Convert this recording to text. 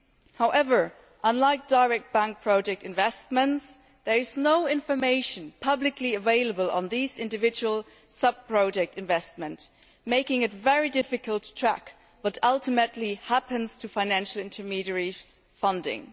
However, unlike direct bank project investments, there is no information publicly available on these individual sub project investments, making it very difficult to track what ultimately happens to financial intermediaries' funding.